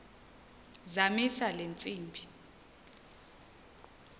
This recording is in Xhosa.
zamisa le ntsimbi